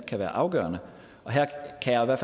aldrig